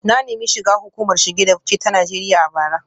Na nemi shiga hukumar shige da fice ta Najeriya a bara